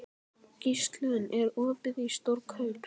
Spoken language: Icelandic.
Gíslunn, er opið í Stórkaup?